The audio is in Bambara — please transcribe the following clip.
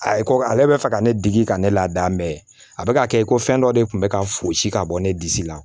A ye ko ale bɛ fɛ ka ne degi ka ne ladamu ye a bɛ ka kɛ ko fɛn dɔ de tun bɛ ka fosi ka bɔ ne disi la